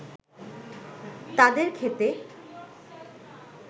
তাদের ক্ষেতে